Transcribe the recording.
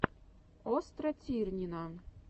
остра тирнина